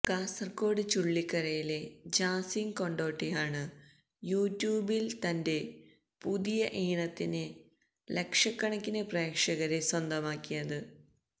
കാസര്കോട് ചുള്ളിക്കരയിലെ ജാസിം കൊട്ടോടിയാണ് യു ട്യൂബില് തന്റെ പുതിയ ഈണത്തിന് ലക്ഷക്കണക്കിന് പ്രേഷകരെ സ്വന്തമാക്കിയത്